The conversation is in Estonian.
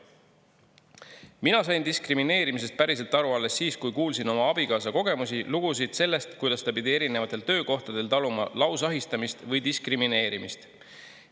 Mina sain diskrimineerimisest päriselt aru alles siis, kui kuulsin oma abikaasa kogemusi, lugusid sellest, kuidas ta pidi erinevatel töökohtadel taluma lausahistamist või diskrimineerimist.